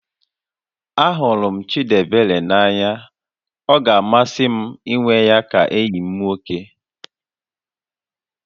Ahụrụ m Chịdịebere n'anya, ọ ga-amasị m ịnwe ya ka enyi m nwoke